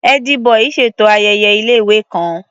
Ẹ́dí-bọì ṣètò ayẹyẹ ilé-ìwé kan.